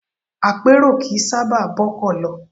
Apèrò kì í sábà bọ́kọ̀ lọ.